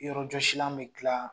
Yɔrɔjɔsilan bɛ dila